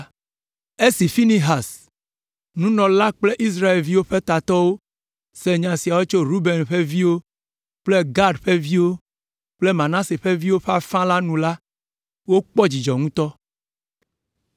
Esi Finehas, nunɔla la kple Israelviwo ƒe tatɔwo se nya siawo tso Ruben ƒe viwo kple Gad ƒe viwo kple Manase ƒe viwo ƒe afã la nu la, wokpɔ dzidzɔ ŋutɔ.